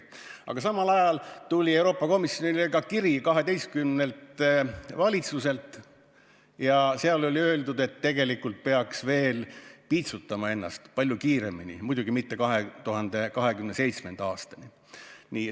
Aga samal ajal tuli Euroopa Komisjonile kiri 12-lt valitsuselt ja seal oli öeldud, et tegelikult peaks ennast piitsutama veel palju kiiremini, muidugi mitte 2027. aastani.